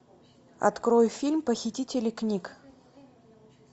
открой фильм похитители книг